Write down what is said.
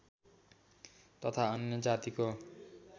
तथा अन्य जातिको